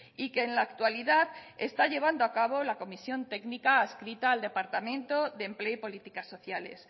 y que en la actualidad está llevando a cabo la comisión técnica adscrita al departamento de empleo y políticas sociales